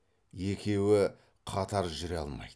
екеуі қатар жүре алмайды